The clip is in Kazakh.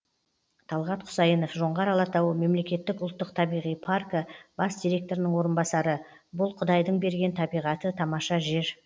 талғат құсайынов жоңғар алатауы мемлекеттік ұлттық табиғи паркі бас директорының орынбасары бұл құдайдың берген табиғаты тамаша жер